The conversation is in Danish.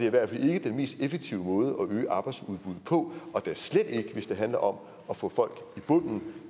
i hvert fald ikke den mest effektive måde at øge arbejdsudbuddet på da slet ikke hvis det handler om at få folk i bunden